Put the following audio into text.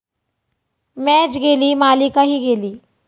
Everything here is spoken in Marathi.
मॅच गेली, मालिकाही गेली